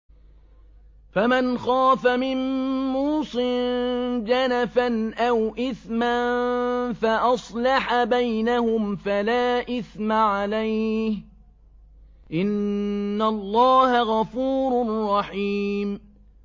فَمَنْ خَافَ مِن مُّوصٍ جَنَفًا أَوْ إِثْمًا فَأَصْلَحَ بَيْنَهُمْ فَلَا إِثْمَ عَلَيْهِ ۚ إِنَّ اللَّهَ غَفُورٌ رَّحِيمٌ